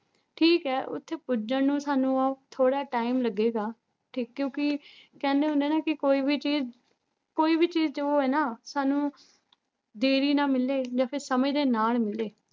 ਠੀਕ ਹੈ ਉੱਥੇ ਪੁੱਜਣ ਨੂੰ ਸਾਨੂੰ ਉਹ ਥੋੜ੍ਹਾ time ਲੱਗੇਗਾ, ਠੀਕ ਕਿਉਂਕਿ ਕਹਿੰਦੇ ਹੁੰਦੇ ਨਾ ਕਿ ਕੋਈ ਵੀ ਚੀਜ਼ ਕੋਈ ਵੀ ਚੀਜ਼ ਜੋ ਹੈ ਨਾ ਸਾਨੂੰ ਦੇਰੀ ਨਾਲ ਮਿਲੇ ਜਾਂ ਫਿਰ ਸਮੇਂ ਦੇ ਨਾਲ ਮਿਲੇ